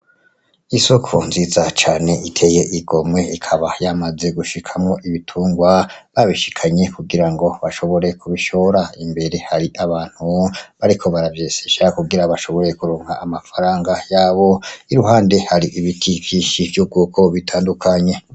Isoko nziza cane iteye igomwe ikaba yamaze gushikamwo ibitungwa babishikanye kugira ngo bashobore kubishora , imbere hari abantu bariko baravyesisha kugira bashobore kuronka amafaranga yabo iruhande hari ibiti vyinshi vy’ubwoko bitandukanye.